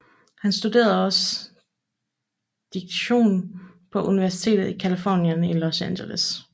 Han studerede også direktion på Universitetet i Californien i Los Angeles